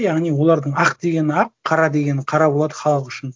яғни олардың ақ дегені ақ қара дегені қара болады халық үшін